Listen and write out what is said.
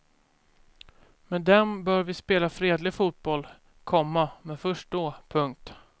Med dem bör vi spela fredlig fotboll, komma men först då. punkt